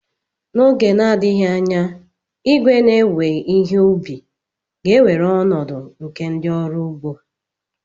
N'oge na-adịghị anya, igwe na-ewe ihe ubi ga-ewere ọnọdụ nke ndị ọrụ ugbo.